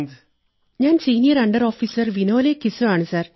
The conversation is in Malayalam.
ഞാൻ senior under officer Vinol Kiso ആണ് സർ